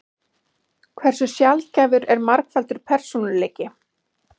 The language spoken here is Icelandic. Hversu sjaldgæfur er margfaldur persónuleiki?